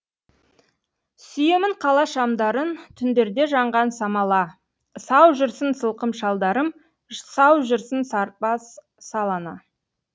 сүйемін қала шамдарынтүндерде жанған самала сау жүрсін сылқым шалдарым сау жүрсін сырбаз сал ана